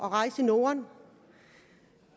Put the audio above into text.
at rejse i norden